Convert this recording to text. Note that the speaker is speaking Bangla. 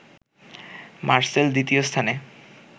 মারসেল দ্বিতীয় স্থানে